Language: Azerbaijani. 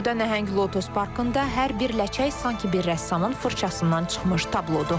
Burda nəhəng lotus parkında hər bir ləçək sanki bir rəssamın fırçasından çıxmış tablodur.